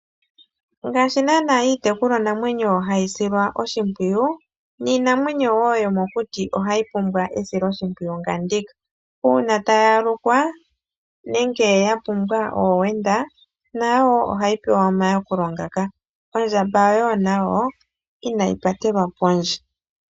Ngaashi naana iitekulwa namwenyo hayi silwa oshimpwiyu niinamwenyo yoo yomokuti ohayi pumbwa esiloshimpwiyu nga ndyoka, uuna tayi ehama nenge ya pumbwa oowenda nayo woo ohayi pewa omayakulo ngaka, ondjamba woo nayo inayi patelwa kondje.